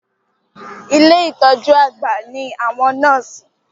Ilé ìtọjú àgbà ní àwọn nọ́ọ̀sì.